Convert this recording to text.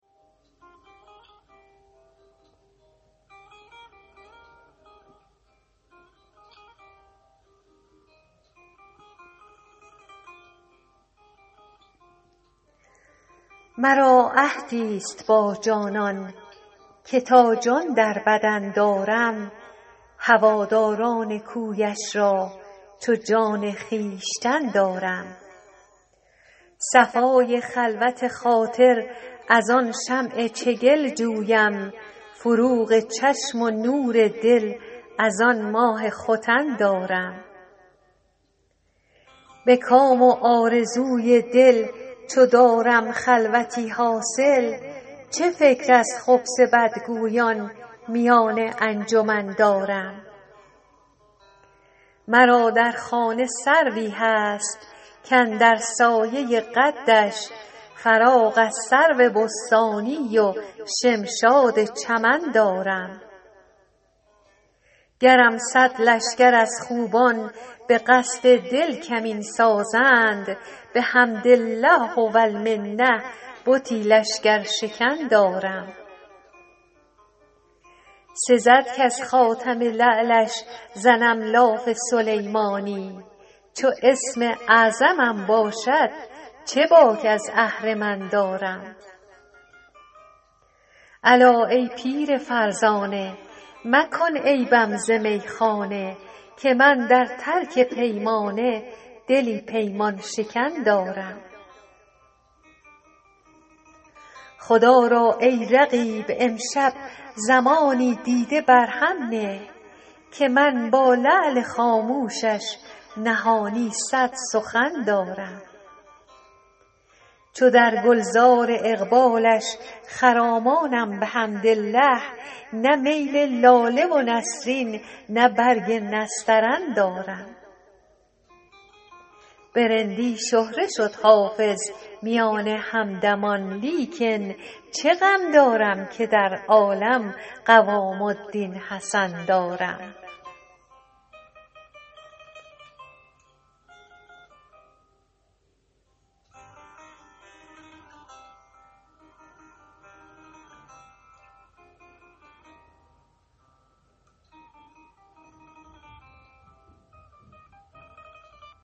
مرا عهدی ست با جانان که تا جان در بدن دارم هواداران کویش را چو جان خویشتن دارم صفای خلوت خاطر از آن شمع چگل جویم فروغ چشم و نور دل از آن ماه ختن دارم به کام و آرزوی دل چو دارم خلوتی حاصل چه فکر از خبث بدگویان میان انجمن دارم مرا در خانه سروی هست کاندر سایه قدش فراغ از سرو بستانی و شمشاد چمن دارم گرم صد لشکر از خوبان به قصد دل کمین سازند بحمد الله و المنه بتی لشکرشکن دارم سزد کز خاتم لعلش زنم لاف سلیمانی چو اسم اعظمم باشد چه باک از اهرمن دارم الا ای پیر فرزانه مکن عیبم ز میخانه که من در ترک پیمانه دلی پیمان شکن دارم خدا را ای رقیب امشب زمانی دیده بر هم نه که من با لعل خاموشش نهانی صد سخن دارم چو در گل زار اقبالش خرامانم بحمدالله نه میل لاله و نسرین نه برگ نسترن دارم به رندی شهره شد حافظ میان همدمان لیکن چه غم دارم که در عالم قوام الدین حسن دارم